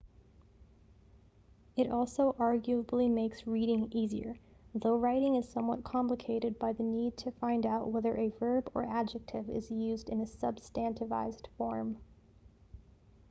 it also arguably makes reading easier though writing is somewhat complicated by the need to find out whether a verb or adjective is used in a substantivized form